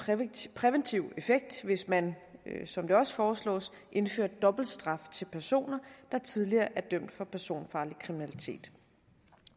have en præventiv effekt hvis man som det også foreslås indførte dobbeltstraf til personer der tidligere er dømt for personfarlig kriminalitet